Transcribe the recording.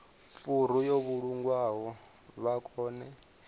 furu yo vhulungwaho vha kone